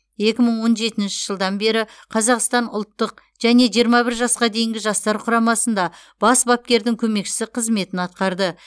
екі мың он жетінші жылдан бері қазақстан ұлттық және жиырма бір жасқа дейінгі жастар құрамасында бас бапкердің көмекшісі қызметін атқарды